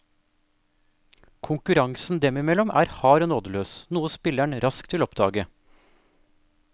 Konkurransen dem imellom er hard og nådeløs, noe spilleren raskt vil oppdage.